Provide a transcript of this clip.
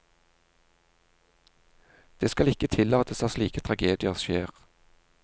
Det skal ikke tillates at slike tragedier skjer.